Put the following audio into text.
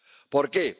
¿Por qué?